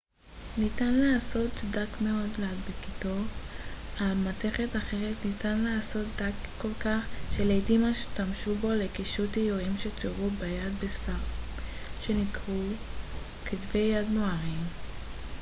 ניתן לעשותו דק מאוד ולהדביקו על מתכת אחרת ניתן לעשותו דק כל כך שלעיתים השתמשו בו לקישוט איורים שצוירו ביד בספרים שנקראו כתבי יד מוארים